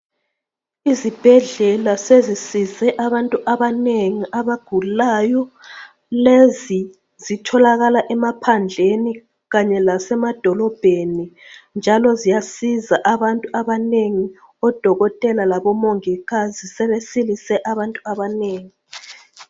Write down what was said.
Izibhedlela sezisize abantu abanengi abagulayo. Lezi zitholakala emaphandleni kanye lase madolobheni njalo ziyasizwa abantu abanengi. Odokotela labo mongikazi sebesilise abantu abanengi.